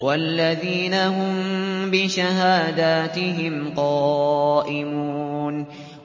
وَالَّذِينَ هُم بِشَهَادَاتِهِمْ قَائِمُونَ